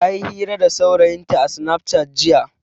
Ta yi hira da saurayinta a sinaf cat jiya.